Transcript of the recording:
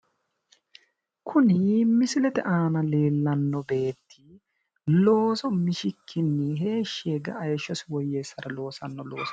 Kuni misilete aana leellanno beetti looso mishikkini heeshshi yee kae heeshshosi woyyeessara loosanno loosooti.